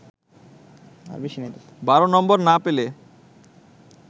১২ number না পেলে